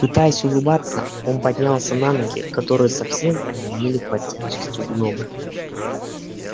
пытаясь улыбаться он поднялся на ноги которые совсем онемели под тяжестью гнома